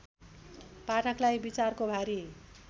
पाठकलाई विचारको भारी